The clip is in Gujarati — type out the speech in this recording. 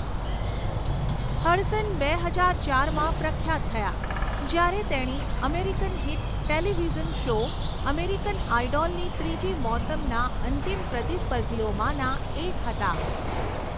હડસન બે હજાર ચારમાં પ્રખ્યાત થયાં જ્યારે તેણી American hit television show 'American આઈડોલ'ની ત્રીજી મોસમના અંતિમ પ્રતિસ્પર્ધીઓમાંના એક હતાં.